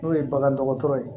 N'o ye bagandɔgɔtɔrɔ ye